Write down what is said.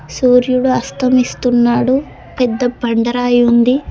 సూర్యుడు అస్తమిస్తున్నాడు పెద్ద పండరాయుంది .